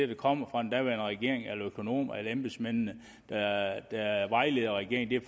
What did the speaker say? der kom fra den daværende regering eller økonomer eller de embedsmænd der vejledte regeringen